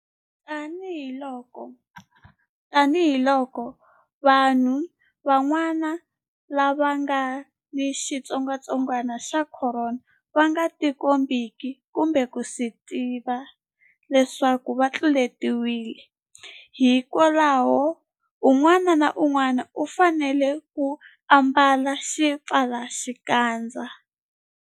Tanihiloko vanhu van'wana lava nga ni xitsongwantsongwana xa Khorona va nga tikombeki kumbe ku swi tiva leswaku va tluletiwile, hikwalaho un'wana na un'wana u fanele ku ambala xipfalaxikandza.